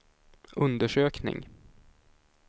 undersökning